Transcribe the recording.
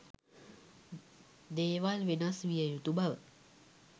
දේවල් වෙනස් විය යුතු බව